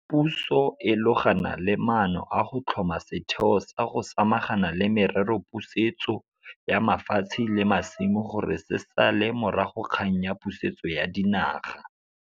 Puso e logana le maano a go tlhoma setheo sa go samagana le merero pusetso ya mafatshe le masimo gore se sale morago kgang ya pusetso ya dinaga.